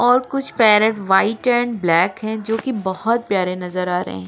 और कुछ parrot white and black हैं जो की बहुत प्यारे नजर आ रहे हैं।